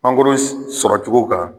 sɔrɔ cogo kan